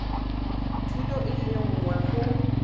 thuto e le nngwe go